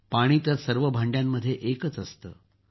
पाणी तर सर्व भांड्यांमध्ये एकच असतं